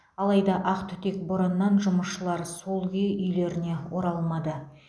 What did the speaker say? алайда ақтүтек бораннан жұмысшылар сол күйі үйлеріне оралмады